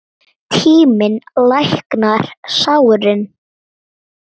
Tíminn læknar sárin.